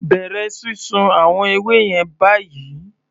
Bẹ̀rẹ̀ sísun àwọn ewé yẹn báyìí!